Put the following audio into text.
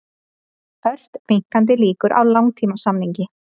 Ört minnkandi líkur á langtímasamningi